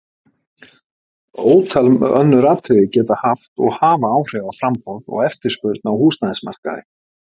Ótal önnur atriði geta haft og hafa áhrif á framboð og eftirspurn á húsnæðismarkaði.